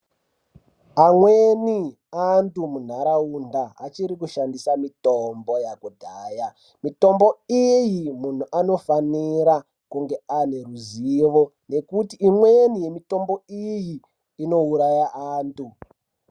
Amweni antu mundaraunda achiri kushandisa mitombo yakudhaya mitombo iyi munhu anofanira kunge ane ruzivo ngekuti imweni yemitombo iyi inouraya antu.